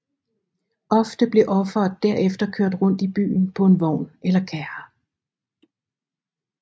Ofte blev offeret derefter kørt rundt i byen på en vogn eller kærre